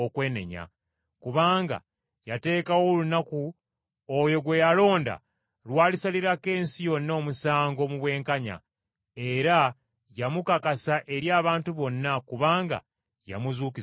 Kubanga yateekawo olunaku, oyo gwe yalonda lw’alisalirako ensi yonna omusango mu bwenkanya. Era yamukakasa eri abantu bonna kubanga yamuzuukiza mu bafu.”